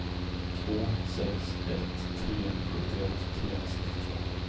två sex ett tre sjuttioett trehundrasextiotvå